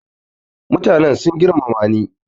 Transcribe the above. mutanen sun girmamani